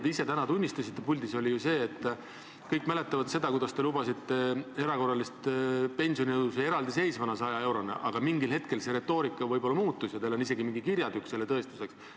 Te ise täna tunnistasite puldis ja kõik mäletavad seda, kuidas te lubasite erakorralist pensionitõusu 100 eurot eraldiseisvana, aga mingil hetkel see retoorika muutus ja teil on isegi mingi kirjatükk selle tõestuseks.